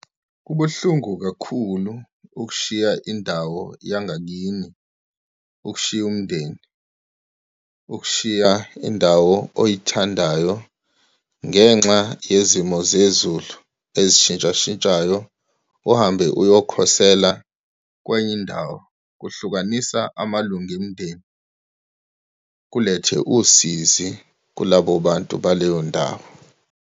Kubuhlungu kakhulu ukushiya indawo yangakini, ukushiya umndeni, ukushiya indawo oyithandayo ngenxa yezimo zezulu esishintshashintshayo, uhambe uyokhosela kwenye indawo, kuhlukanisa amalunga omndeni, kulethe usizi kulabo bantu baleyo ndawo.